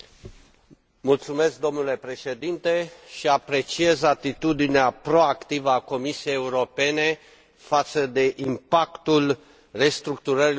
Apreciez atitudinea proactivă a Comisiei Europene față de impactul restructurărilor anticipate pentru industria automobilelor.